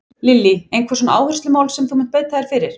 Lillý: Einhver svona áherslumál sem að þú munt beita þér fyrir?